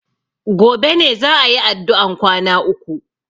Gobe ne za a yi addu'an kwana uku.